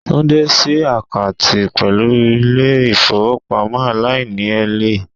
Tunde si akanti pelu ile ifowopamo alaini-ele